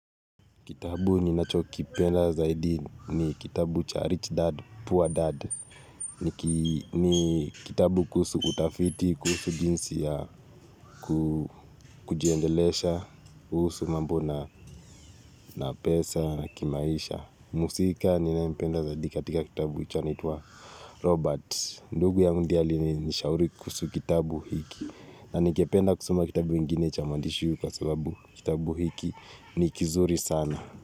Kitabu ninacho kipenda zaidi ni kitabu cha Rich Dad, Poor Dad. Ni kitabu kuhusu utafiti, kuhusu jinsi ya kujiendelesha, kuhsu mambo na pesa, na kimaisha. Mhusika ninayempenda zaidi katika kitabu hicho anaitwa Robert. Ndugu ya ndiye alinishauri kuhusu kitabu hiki. Na ningependa kusoma kitabu ingine cha maandishi huu kwa sababu kitabu hiki ni kizuri sana.